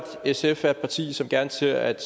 sf er et parti som gerne ser at